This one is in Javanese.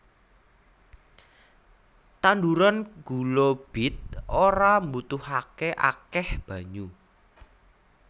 Tanduran gula bit ora mbutuhaké akéh banyu